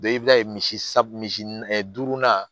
i b'a ye misi sa misi duurunan